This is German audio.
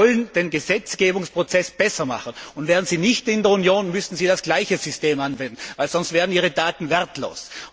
Wir wollen also den Gesetzgebungsprozess besser machen, und wären Sie nicht in der Union, müssten Sie das gleiche System anwenden, sonst wären Ihre Daten wertlos.